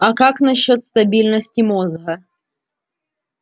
а как насчёт стабильности мозга